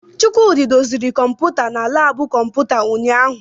Chukwudi doziri kọmpụta na labu kọmputa ụnyaahụ.